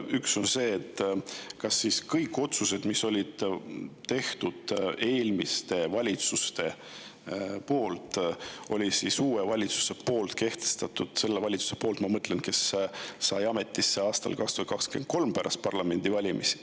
Üks on see, et kas kõik otsused, mis olid tehtud eelmiste valitsuste poolt, on nüüd ka uue valitsuse kehtestatud, selle valitsuse poolt, ma mõtlen, kes sai ametisse aastal 2023 pärast parlamendivalimisi.